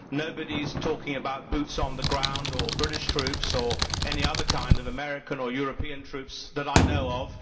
Nobody is talking about boots on the ground, or British troops or any other kind of American or European troops that I know of.